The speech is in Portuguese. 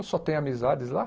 Eu só tenho amizades lá.